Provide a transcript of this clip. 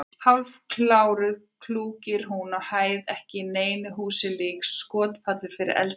Hálfköruð klúkir hún á hæðinni ekki neinu húsi lík: skotpallur fyrir eldflaug?